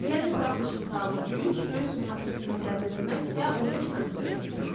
Yəni buraxılış imtahanı üç, böyük summativ qiymətləndirilmə isə 15 fənd üzrə keçirilir.